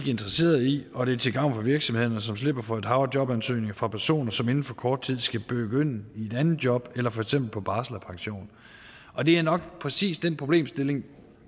interesseret i og det er til gavn for virksomhederne som slipper for et hav af jobansøgninger fra personer som inden for kort tid skal begynde i et andet job eller for eksempel på barsel eller pension og det er nok præcis den problemstilling